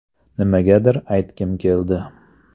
Nimagadir aytgim keldi.